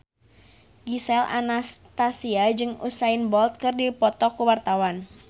Gisel Anastasia jeung Usain Bolt keur dipoto ku wartawan